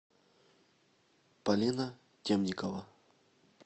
полина темникова